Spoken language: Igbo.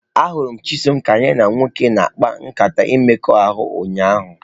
Ahụrụ m Chisom ka ya na nwoke na-akpa nkata mmekọahụ ụnyahụ.